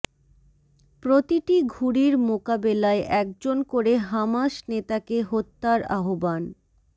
প্রতিটি ঘুড়ির মোকাবেলায় একজন করে হামাস নেতাকে হত্যার আহ্বান